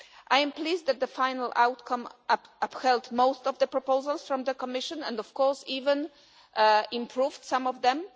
I am pleased that the final outcome upheld most of the proposals from the Commission and, of course, even improved on some of them.